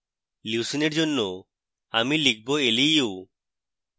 leucine for জন্য আমি লিখব leu